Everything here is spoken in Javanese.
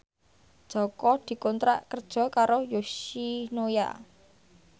Jaka dikontrak kerja karo Yoshinoya